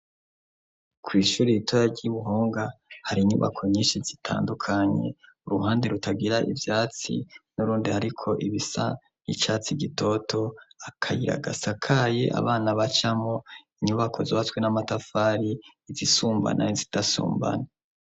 Kw'ishuri ritoya ry'i Buhonga hari inyubako nyinshi zitandukanye, uruhande rutagira ivyatsi, n'urundi hariko ibisa icatsi gitoto, akayira gasakaye abana bacamwo, inyubako zubatswe n'amatafari izisumbana n'izidasumbana.